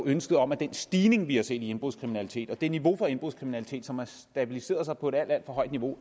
ønsket om at den stigning vi har set i indbrudskriminalitet og den mængde af indbrudskriminalitet som har stabiliseret sig på et alt alt for højt niveau